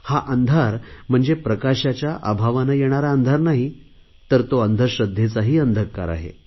हा अंधार म्हणजे प्रकाशाच्या अभावाने येणारा अंधार नाही तर तो अंधश्रध्देचाही अंधकार आहे